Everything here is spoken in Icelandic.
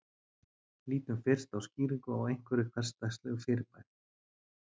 Lítum fyrst á skýringu á einhverju hversdagslegu fyrirbæri.